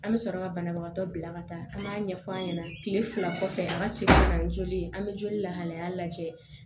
An bɛ sɔrɔ ka banabagatɔ bila ka taa an b'a ɲɛf'an ɲɛna kile fila kɔfɛ an ka se ka na ni joli ye an be joli lahalaya lajɛ